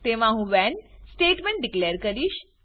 તેમાં હું when statement declare કરીશ